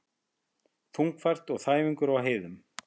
Þungfært og þæfingur á heiðum